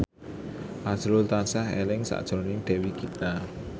azrul tansah eling sakjroning Dewi Gita